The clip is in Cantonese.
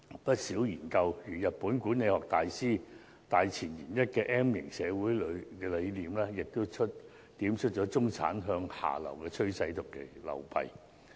不少研究如日本管理學大師大前研一的 M 型社會理論，亦點出中產向下流的趨勢及其流弊。